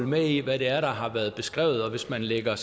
med i hvad det er der har været beskrevet og hvis man lægger